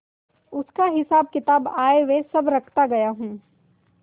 उसका हिसाबकिताब आयव्यय सब रखता गया हूँ